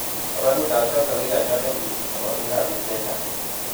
tabanutab choto ko kinyaryo sobonwekab biik che chang'